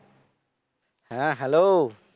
হ্যা hello